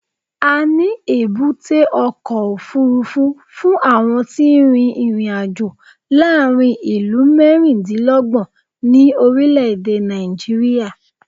A ní èbúté ọkọ̀ òfuurufú fún àwọn tí ń rin ìrìn-àjò láàárín ìlú mẹ́rìndínlọ́gbọ̀n ní orílẹ̀-èdè Nàìjíríà.